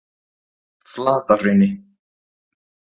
Flatahrauni